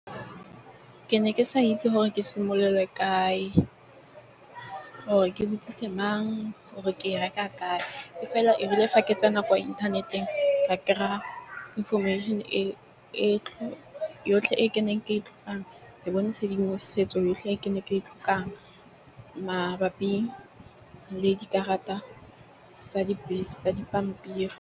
Ke ne ke sa itse gore ke simolole kae. Gore ke butsise mang or ke e reka kae? E fela, e rile gake tsena kwa inthaneteng ka kry-a information e yotlhe, e ke neng ke e tlotlang ke bone tshedimosetso yotlhe e ke ne ke e tlhokang. Mabapi le dikarata tsa dibese tsa dipampiri.